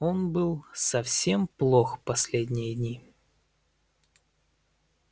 он был совсем плох последние дни